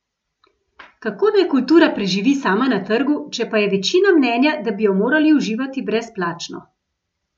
Kako naj kultura preživi sama na trgu, če pa je večina mnenja, da bi jo morali uživati brezplačno?